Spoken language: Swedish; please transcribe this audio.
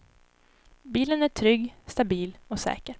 Bilen är trygg, stabil och säker.